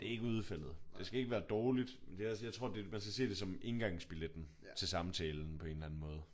Det er ikke udfaldet. Det skal ikke være dårligt. Men det er også jeg tror man skal se det som indgangsbilletten til samtalen på en eller anden måde